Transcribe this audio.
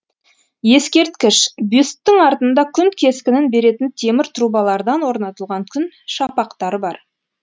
ескерткіш бюсттің артында күн кескінін беретін темір трубалардан орнатылған күн шапақтары бар